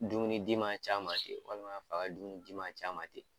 Dumunidi ma c'a ma ten walima di ma c'a ma ten.